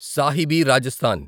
Sahibi Rajasthan